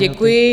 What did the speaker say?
Děkuji.